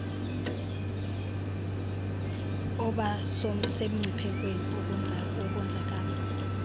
oba semngciphekweni wokonzakala